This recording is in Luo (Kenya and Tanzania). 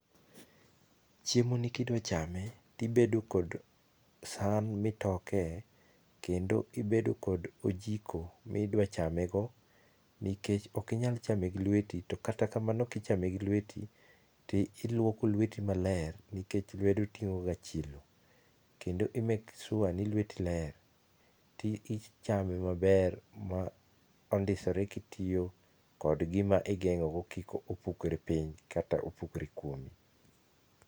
Chiemoni kidwa chame, to ibedo kod san mitoke kendo ibedo kod ojiko ma idwa chamego nikech ok inyal chame gi lweti to kata kamano kichame gi lweti toiluoko lweti maler nikech lwedo ting'o ga chilo. Kendo i make sure ni lweti ler to ichame maber mondisore kod gima igeng'o go kik opukre piny kata kik opukre kuomi.